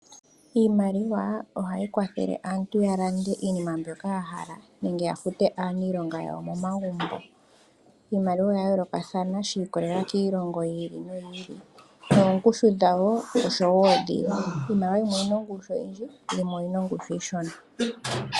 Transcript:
Iimaliwa ohayi kwathele aantu oku landa iinima mbyoka ya hala, nenge ya fute aaniilonga yawo momagumbo. Iimaliwa oya yoolokathana shi kololeela kiilongo yili no yiili, noongushu dhawo osho wo dhiili, iimaliwa yimwe oyina ongushu oyindji yo yimwe oyina ongushu oshona.